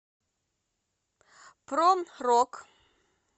про рок